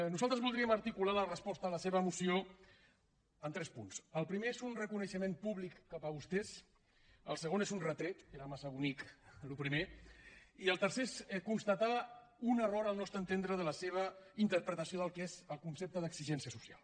nosaltres voldríem articular la resposta a la seva moció en tres punts el primer és un reconeixement públic cap a vostès el segon és un retret era massa bonic el primer i el tercer és constatar un error al nostre entendre de la seva interpretació del que és el concepte d’exigència social